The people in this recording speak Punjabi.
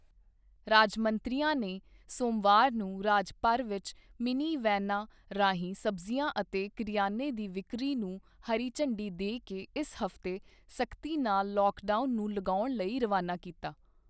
ਰਾਜ ਮੰਤਰੀਆਂ ਨੇ ਸੋਮਵਾਰ ਨੂੰ ਰਾਜ ਭਰ ਵਿੱਚ ਮਿੰਨੀ ਵੈਨਾਂ ਰਾਹੀਂ ਸਬਜ਼ੀਆਂ ਅਤੇ ਕਰਿਆਨੇ ਦੀ ਵਿਕਰੀ ਨੂੰ ਹਰੀ ਝੰਡੀ ਦੇ ਕੇ ਇਸ ਹਫ਼ਤੇ ਸਖਤੀ ਨਾਲ ਲੌਕਡਾਊਨ ਨੂੰ ਲਗਾਉਣ ਲਈ ਰਵਾਨਾ ਕੀਤਾ।